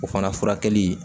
O fana furakɛli